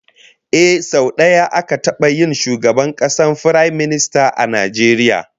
Ehh, sau daya aka taba yin shugaban kasa Firaminista a Najeriya